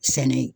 Sɛnɛ